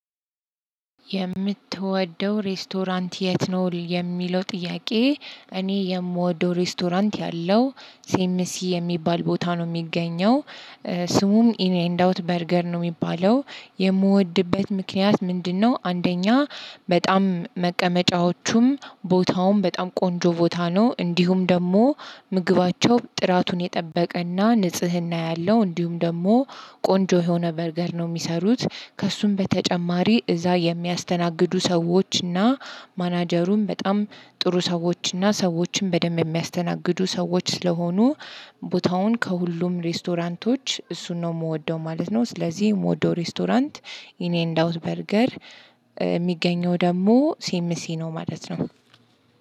የምትወደው ሬስቶራንት የት? ነው የሚለው ጥያቄ እኔ የምወደው ሬስቶራንት ያለው ሴምሲ የሚባል ቦታ ነው የሚገኘው ስሙም ኢን ኤንድ አውት በርገር ነው። የሚባለው የምወድበት ምክንያት ምንድነው? አንደኛ በጣም መቀመጫዎቹም ቦታውም በጣም ቆንጆ ቦታ ነው። እንዲሁም ደግሞ ምግባቸው ጥራቱን የጠበቀና ንጽህና ያለው እንዲሁም ደግሞ ቆንጆ የሆነ በርገር ነው የሚሰሩት ከእርሱም በተጨማሪ እዛ የሚያስተናግዱ ሰዎች እና ማናጀሩም በጣም ጥሩ ሰዎች እና ሰዎችም በደንብ የሚያስተናግዱ ሰዎች ስለሆኑ ቦታውን ከሁሉም ሬስቶራንቶች እሱን ነው የምወደው ማለት ነው። ስለዚህ የምወደው ሬስቶራንት ኢን ኤንድ አውት በርገር የሚገኘው ደግሞ ሲምሲ ነው ማለት ነው።